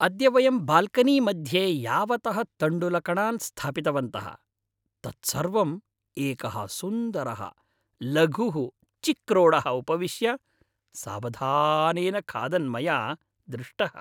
अद्य वयं बाल्कनीमध्ये यावतः तण्डुलकणान् स्थापितवन्तः तत् सर्वं एकः सुन्दरः लघुः चिक्रोडः उपविश्य सावधानेन खादन् मया दृष्टः।